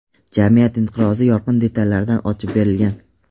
jamiyat inqirozi yorqin detallarda ochib berilgan.